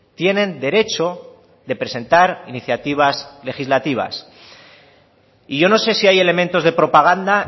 tienen derecho de presentar iniciativas legislativas y yo no sé si hay elementos de propaganda